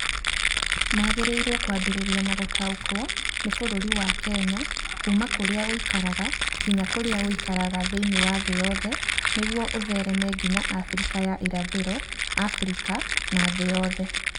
Magĩrĩirũo kwambĩrĩria na gũtaũkĩrũo nĩ bũrũri wa Kenya kuuma kũrĩa ũikaraga nginya kũrĩa ũikaraga thĩinĩ wa thĩ yothe, nĩguo ũthereme nginya Afrika ya ĩrathĩro, Afrika na thĩ yothe.